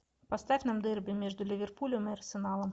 поставь нам дерби между ливерпулем и арсеналом